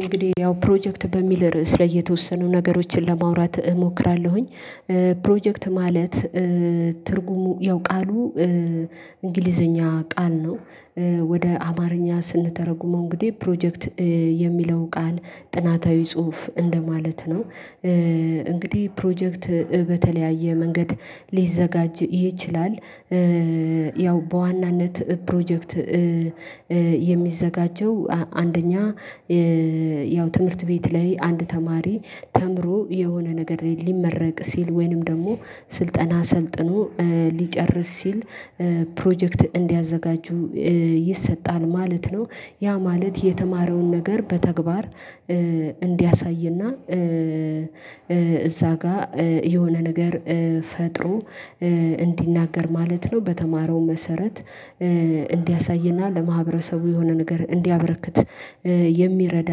እንግዲህ ያው ፕሮጀክት በሚል ርዕስ ላይ የተወሰኑ ነገሮችን ለማውራት እሞክራለሁኝ። ፕሮጀክት ማለት ትርጉሙ ያው ቃሉ እንግሊዘኛ ቃል ነው። ወደ አማርኛ ስንተረጉመው እንግዲህ ፕሮጀክት የሚለው ቃል ጥናታዊ ጽሁፍ እንደማለት ነው እንግዲህ ፕሮጀክት በተለያየ መንገድ ሊዘጋጅ ይችላል። ያው በዋናነት ፕሮጀክት የሚዘጋጀው አንደኛ ያው ትምህርት ቤት ላይ አንድ ተማሪ ተምሮ የሆነ ነገር ላይ ሊመረቅ ሲል ወይንም ደግሞ ስልጠና ሰልጥኖ ሊጨርስ ሲል ፕሮጀክት እንዲያዘጋጁ ይሰጣል ማለት ነው። ያ ማለት የተማረውን ነገር በተግባር እንዲያሳይና እዛ ጋር የሆነ ነገር ፈጥሮ እንዲናገር ማለት ነው። በተማረው መሰረት እንዲያሳይና ለማህበረሰቡ የሆነ ነገር እንዲያበረክት የሚረዳ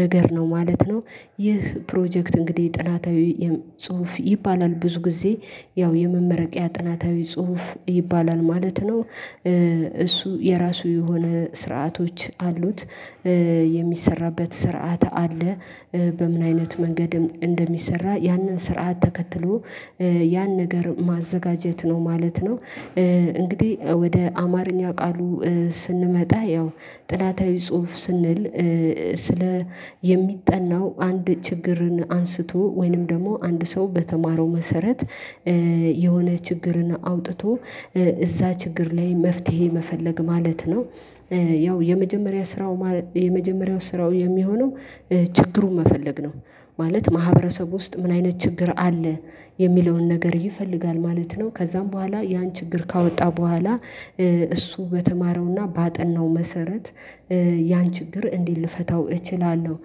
ነገር ነው ማለት ነው። ይህ ፕሮጀክት እንግዲህ ጥናታዊ ጽሁፍ ይባላል ብዙ ጊዜ ያው የመመረቂያ ጥናታዊ ጽሁፍ ይባላል ማለት ነው። እሱ የራሱ የሆነ ስርዓቶች አሉት የሚሰራበት ስርዓት አለ። በምን አይነት መንገድም እንደሚሰራ ያንን ስርዓት ተከትሎ ያን ነገር ማዘጋጀት ነው ማለት ነው። እንግዲህ ወደ አማርኛ ቃሉ ስንመጣ ያው ጥናታዊ ጽሁፍ ስንል ስለ የሚጠናው አንድ ችግርን አንስቶ ወይንም ደግሞ አንድ ሰው በተማረው መሰረት የሆነ ችግርን አውጥቶ እዛ ችግር ላይ መፍትሄ መፈለግ ማለት ነው። ያው የመጀመሪያ ስራው የመጀመሪያው ስራው የሚሆነው ችግሩን መፈለግ ነው። ማለት ማህበረሰብ ውስጥ ምን አይነት ችግር አለ የሚለውን ነገር ይፈልጋል ማለት ነው ከዛም በኋላ ያን ችግር ካወጣ በኋላ እሱ በተማረውና ባጠናው መሰረት ያን ችግር እንዲት ልፈታው እችላለሁ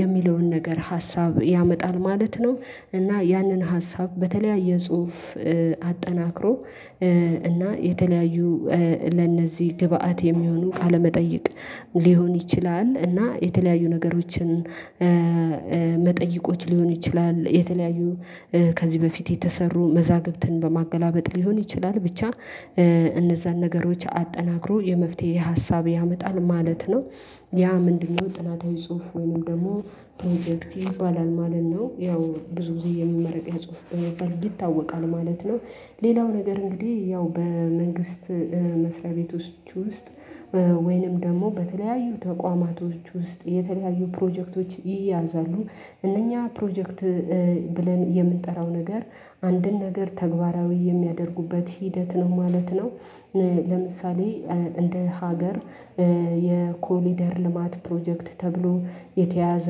የሚለውን ነገር ሀሳብ ያመጣል ማለት ነው። እና ያንን ሀሳብ በተለያየ ጽሁፍ አጠናክሮ እና የተለያዩ ለእነዚህ ግብአት የሚሆኑ ቃለመጠየቅ ሊሆን ይችላል እና የተለያዩ ነገሮችን መጠይቆች ሊሆኑ ይችላል የተለያዩ ከዚህ በፊት የተሰሩ መዛግብትን በማገላበጥ ሊሆን ይችላል ብቻ እነዛን ነገሮች አጠናክሮ የመፍትሄ ሀሳብ ያመጣል ማለት ነው። ያ ምንድነው? ጥናታዊ ጽሁፍ ወይንም ደግሞ ፕሮጀክት ይባላል ማለት ነው ያው ብዙ ጊዜ የመመረቂያ ጽሁፍ በመባል ይታወቃል ማለት ነው። ሌላው ነገር እንግዲህ ያው በመንግስት መስሪያ ቤቶች ውስጥ ወይንም ደግሞ በተለያዩ ተቋማቶች ውስጥ የተለያዩ ፕሮጀክቶች ይያዛሉ እነኛ ፕሮጀክት ብለን የምንጠራው ነገር አንድን ነገር ተግባራዊ የሚያደርጉበት ሂደት ነው ማለት ነው። ለምሳሌ እንደ ሀገር የኮሪደር ልማት ፕሮጀክት ተብሎ የተያያዘ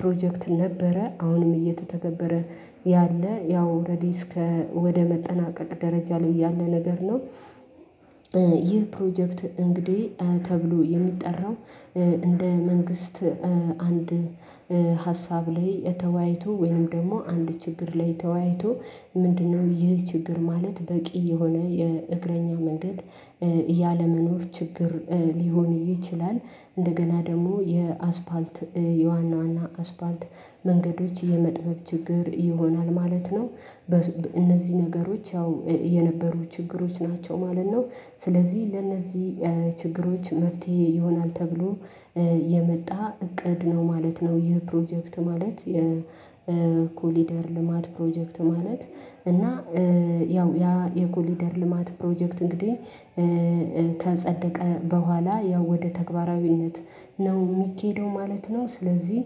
ፕሮጀክት ነበረ አሁንም እየተተገበረ ያለ ያው ኦረዲ እስከ ወደ መጠናቀቅ ደረጃ ላይ ያለ ነገር ነው። ይህ ፕሮጀክት እንግዲህ ተብሎ የሚጠራው እንደ መንግስት አንድ ሀሳብ ላይ ተወያይቶ ወይንም ደግሞ አንድ ችግር ላይ ተወያይቶ ምንድነው ይህ ችግር ማለት በቂ የሆነ የእግረኛ መንገድ ያለመኖር ችግር ሊሆን ይችላል። እንደገና ደግሞ የአስፓልት የዋና ዋና አስፓልት መንገዶች የመጥበብ ችግር ይሆናል ማለት ነው። በእነዚህ ነገሮች ያው የነበሩ ችግሮች ናቸው ማለት ነው። ስለዚህ ለነዚህ ችግሮች መፍትሄ ይሆናል ተብሎ የመጣ እቅድ ነው ማለት ነው። ይህ ፕሮጀክት ማለት የኮሪደር ልማት ፕሮጀክት ማለት እና ያው ያ የኮሊደር ልማት ፕሮጀክት እንግዲህ ከጸደቀ በኋላ ያው ወደ ተግባራዊነት ነው የሚኬደው ማለት ነው። ስለዚህ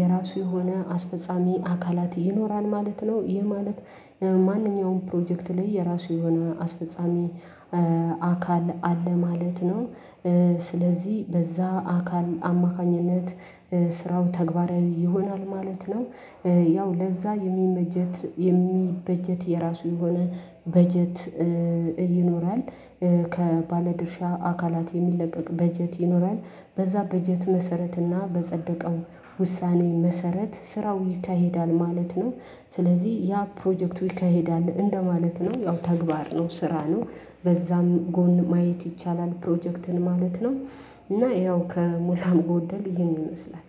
የራሱ የሆነ አስፈጻሚ አካላት ይኖራል ማለት ነው። ይህ ማለት ማንኛውም ፕሮጀክት ላይ የራሱ የሆነ አስፈጻሚ አካል አለ ማለት ነው። ስለዚህ በዛ አካል አማካኝነት ስራው ተግባራዊ ይሆናል ማለት ነው። ያው ለዛ የሚበጀት የሚበጀት የራሱ የሆነ በጀት ይኖራል ከባለድርሻ አካላት የሚለቀቅ በጀት ይኖራል በዛ በጀት መሰረት እና በጸደቀው ውሳኔ መሰረት ስራው ይካሄዳል ማለት ነው። ስለዚህ ያ ፕሮጀክቱ ይካሄዳል እንደማለት ነው ያው ተግባር ነው ስራ ነው በዛም ጎን ማየት ይቻላል ፕሮጀክትን ማለት ነው። እና ይኸው ከሞላ ጎደል ይህን ይመስላል